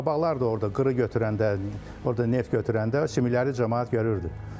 Qabaqlar da orda qırı götürəndə, orda neft götürəndə sümükləri camaat görürdü.